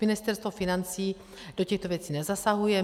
Ministerstvo financí do těchto věcí nezasahuje.